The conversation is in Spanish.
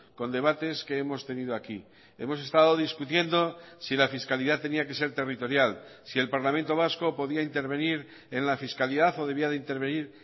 con debates que hemos tenido aquí hemos estado discutiendo si la fiscalidad tenía que ser territorial si el parlamento vasco podía intervenir en la fiscalidad o debía de intervenir